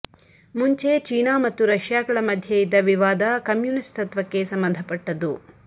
ಮುಂಚೆ ಚೀನಾ ಮತ್ತು ರಷ್ಯಾಗಳ ಮಧ್ಯೆ ಇದ್ದ ವಿವಾದ ಕಮ್ಯುನಿಸ್ಟ್ ತತ್ವಕ್ಕೆ ಸಂಬಂಧಪಟ್ಟದ್ದು